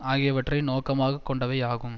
ஆகியவற்றை நோக்கமாக கொண்டவை ஆகும்